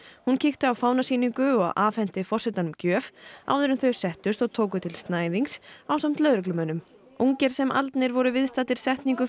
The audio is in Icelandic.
hún kíkti á fánasýningu og afhenti forsetanum gjöf áður en þau settust og tóku til ásamt lögreglumönnum ungir sem aldnir voru viðstaddir setningu